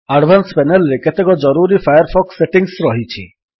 advance panel ରେ କେତେକ ଜରୁରୀ ଫାୟାରଫକ୍ସ ସେଟିଙ୍ଗ୍ସ ରହିଛି